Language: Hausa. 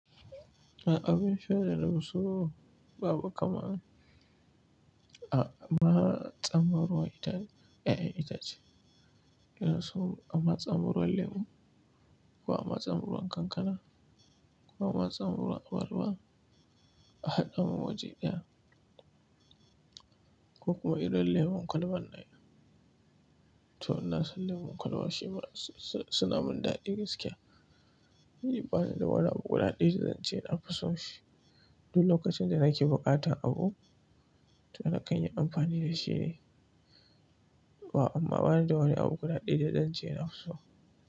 A abin shan da na fi so babu kamar a matsan min ruwan yayan itace, ina so a matsan ruwan lemo, ko a matsan ruwan kankana, ko a matsan ruwan abarba, a hada mun waje ɗaya. Kuma idan lemon kwalban ne, to ina son lemon kwalba shi ma suna min daɗi gaskiya. Ban da wani abu guda ɗaya da zan ce na fi so shi, duk lokacin da nake buƙatan abu, to na kan yi amfani da shi ne. To amma ban da wani abu guda ɗaya da zan ce na fi so.